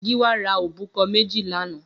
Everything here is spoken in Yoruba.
Giwa rà óbúkọ̀ mèjí lànã